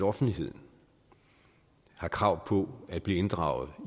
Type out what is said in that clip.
offentligheden har krav på at blive inddraget